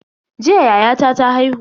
Jiya yayata ta haihu.